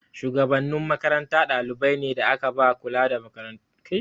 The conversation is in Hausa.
Shugabannin makaranta dalibai ne da aka ba kula da wasu ayyuka.